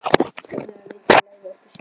Haltu þér saman og reyndu að læra okkar siði.